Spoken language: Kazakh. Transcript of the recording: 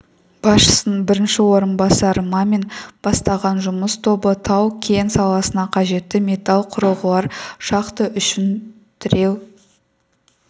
басшысының бірінші орынбасары мамин бастаған жұмыс тобы тау-кен саласына қажетті металл құрылғылар шахта үшін тіреу